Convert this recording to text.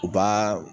U b'a